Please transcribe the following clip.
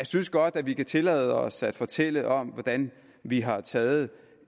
synes godt at vi kan tillade os at fortælle om hvordan vi har taget